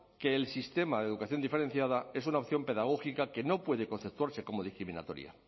que el sistema de educación diferenciada es una opción pedagógica que no puede conceptuarse como discriminatoria